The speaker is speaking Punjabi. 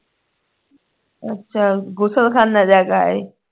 ਅੱਛਾ ਗੁਸਲਖਾਨੇ ਜਾ ਕੇ ਆਏ